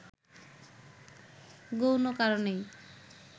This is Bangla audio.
গৌণ কারণেই